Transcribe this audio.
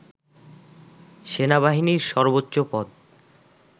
সেনাবাহিনীর সর্বোচ্চ পদ